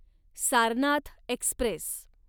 Sarnath Express